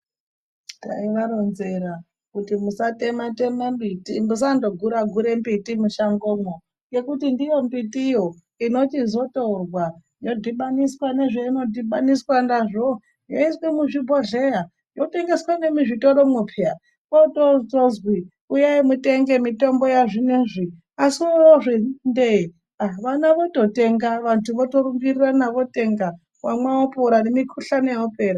Taivaronzera kuti musatema-tema mbiti, musandogura-gure mbiti mushangomwo ngekuti ndiyo mbitiyo inochizotorwa yodhibaniswa nezveinodhibaniswa nazvo yoiswe muzvibhodhleya yotengeswa nemizvitoromwo peya. Kwautozwi uyai mutenge mitombo yazvineizvi. Asi wotozviti ndee ah vana vototenga, vantu votorumbirirana votenga wamwa opora nemukuhlani yopera.